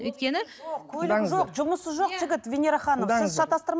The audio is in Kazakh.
өйткені тыңдаңыздар жұмысы жоқ жігіт венера ханым сіз